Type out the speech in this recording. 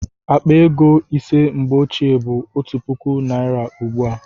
Akpa ego ise mgbe ochie bụ otu puku naira ugbu a